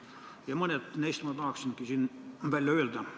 Ja mõned neist ma tahaksingi siin välja öelda.